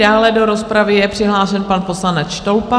Dále do rozpravy je přihlášen pan poslanec Štolpa.